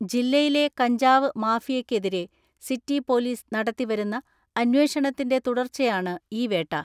ജില്ലയിലെ കഞ്ചാവ് മാഫിയക്കെതിരെ സിറ്റി പൊലീസ് നടത്തിവരുന്ന അന്വേഷണത്തിന്റെ തുടർച്ചയാണ് ഈ വേട്ട.